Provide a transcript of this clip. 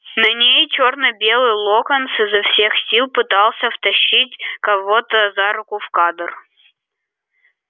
на ней чёрно-белый локонс изо всех сил пытался втащить кого-то за руку в кадр